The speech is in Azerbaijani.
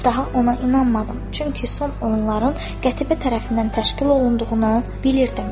Daha ona inanmadım, çünki son oyunların Qətibə tərəfindən təşkil olunduğunu bilirdim.